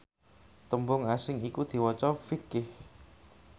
tembung asing iku diwaca fiqh